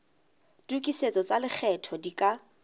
tokisetso tsa lekgetho di ka